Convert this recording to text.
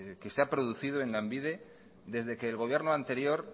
que se ha producido en lanbide desde que el gobierno anterior